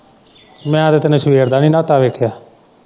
ਮੈੰ ਤਾਂ ਤਿਨੂੰ ਸਵੇਰ ਦਾ ਨੀ ਨਾਤਾ ਵੇਖਿਆ।